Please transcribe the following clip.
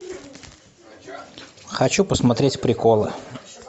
хочу посмотреть приколы